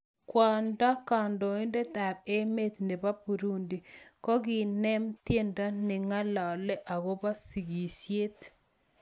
Kwandoo kandoindet ap emeet neboo Burundi kakoneem tiendo nengalale akopoo sikisiet